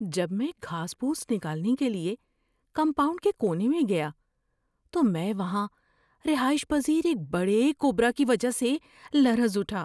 جب میں گھاس پھوس نکالنے کے لیے کمپاؤنڈ کے کونے میں گیا تو میں وہاں رہائش پذیر ایک بڑے کوبرا کی وجہ سے لرز اٹھا۔